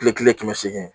Kile kelen kɛmɛ seegin